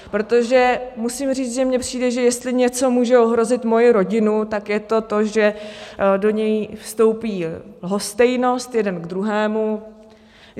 Protože musím říct, že mně přijde, že jestli něco může ohrozit moji rodinu, tak je to to, že do ní vstoupí lhostejnost jeden k druhému.